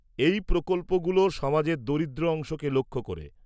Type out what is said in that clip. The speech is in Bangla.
-এই প্রকল্পগুলো সমাজের দরিদ্র অংশকে লক্ষ্য করে।